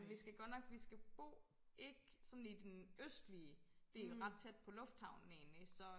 Vi skal godt nok vi skal bo ikke sådan i den østlige del ret tæt på lufthavnen egentlig så